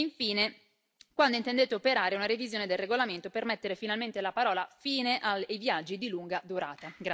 E infine quando intendete operare una revisione del regolamento per mettere finalmente la parola fine ai viaggi di lunga durata?